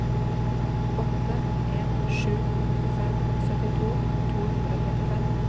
åtte en sju fem syttito to hundre og trettifem